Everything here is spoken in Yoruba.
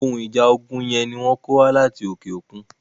Ohun ìjà ogun yẹn ni wọ́n kó wá láti òkè okun.